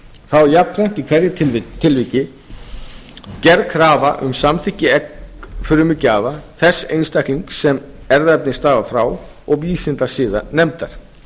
þá er jafnframt í hverju tilviki gerð krafa um samþykki eggfrumugjafa þess einstaklings sem erfðaefnið stafar frá og vísindasiðanefndar